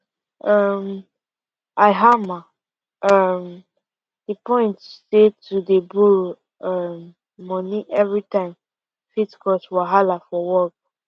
um i hammer um di point say to dey borrow um money everytime fit cause wahala for work